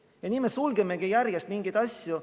Ja nii me sulgemegi järjest mingeid asju.